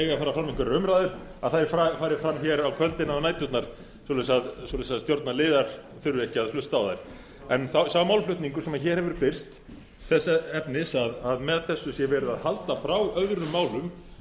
það eiga að fara fram einhverjar umræður fari þær fram á kvöldin eða næturnar svo að stjórnarliðar þurfi ekki að hlusta á þær sá málflutningur sem hér hefur birst þess efnis að með þessu sé verið að halda frá öðrum málum